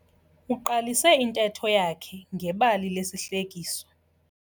Uqalise intetho yakhe ngebali lesihlekiso.